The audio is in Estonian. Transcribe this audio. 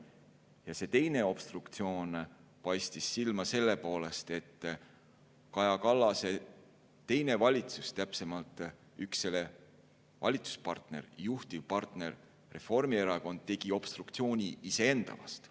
Ja teine obstruktsioon paistis silma selle poolest, et Kaja Kallase teine valitsus, täpsemalt üks selle valitsuspartner, juhtivpartner Reformierakond, tegi obstruktsiooni iseenda vastu.